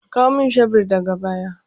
Kawo min shebur daga baya!